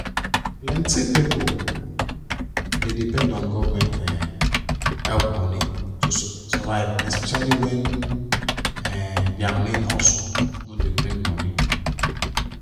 plenty pipo dey depend on government um help money to survive especially when um dia main hustle no dey bring money.